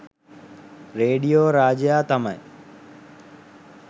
radio රාජයා තමයි